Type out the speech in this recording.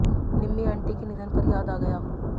निम्मी aunty के निधन पर याद आ गया